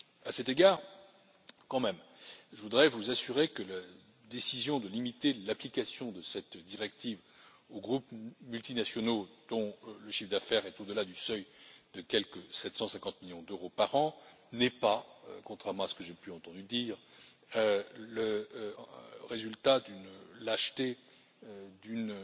À cet égard, je tiens à vous assurer que la décision de limiter l'application de cette directive aux groupes multinationaux, dont le chiffre d'affaires est au delà du seuil de quelque 750 millions d'euros par an, n'est pas contrairement à ce que j'ai pu entendre dire le résultat d'une lâcheté ou d'une